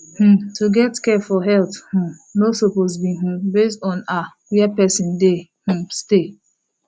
hmm to get care for health um no suppose be um base on ah where person dey um stay